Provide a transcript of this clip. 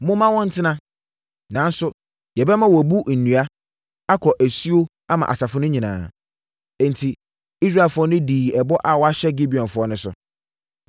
Momma wɔntena. Nanso, yɛbɛma wɔabu nnua, akɔ asuo ama asafo no nyinaa.” Enti Israelfoɔ no dii ɛbɔ a wɔahyɛ Gibeonfoɔ no so.